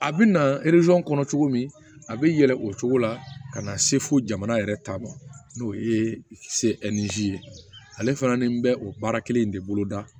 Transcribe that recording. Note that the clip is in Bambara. A bɛ na kɔnɔ cogo min a bɛ yɛlɛ o cogo la ka na se fo jamana yɛrɛ ta ma n'o ye se nizi ye ale fana ni bɛ o baara kelen in de bolo da